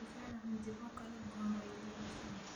Digaagga midabo kala duwan bay leeyihiin.